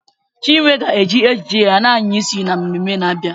Chinwe ga-eji ejiji ya na-anya isi n'ememme na-abịa.